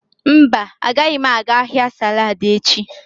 Mba, agaghị m aga ahịa saladi echi.